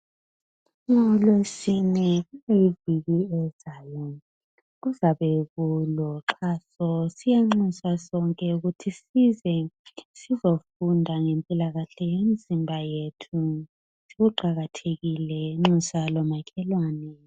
Ngolwesine kuviki ezayo kuzabe kulo xhaso siyanxusa sonke ukuthi size sizofunda ngempilakahle yemizimba yethu kuqakathekile nxusa lomakhelwane